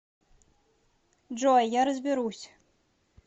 джой я разберусь